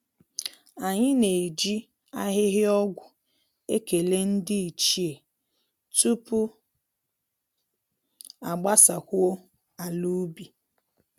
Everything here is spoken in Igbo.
Anyị na-eji ahịhịa ọgwụ ekele ndị ichie tupu a gbasakwuo ala ubi